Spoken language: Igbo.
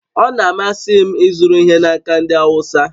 Ọ na-amasị m ịzụrụ ihe n'aka ndị Awụsa